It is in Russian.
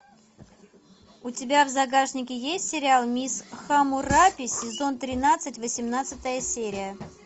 у тебя в загашнике есть сериал мисс хаммурапи сезон тринадцать восемнадцатая серия